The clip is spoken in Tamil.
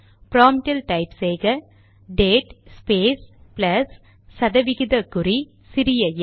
ப்ராம்ட்டில் டைப் செய்க டேட் ஸ்பேஸ் ப்ளஸ் சதவிகித குறி சிறிய எம்